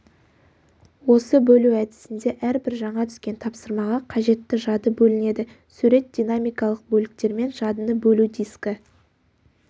осы бөлу әдісінде әрбір жаңа түскен тапсырмаға қажетті жады бөлінеді сурет динамикалық бөліктермен жадыны бөлу дискі